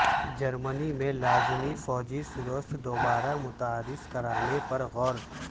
جرمنی میں لازمی فوجی سروس دوبارہ متعارف کرانے پر غور